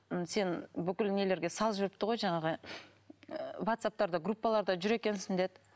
сені бүкіл нелерге салып жіберіпті ғой жаңағы ватсаптарда группаларда жүр екенсің деді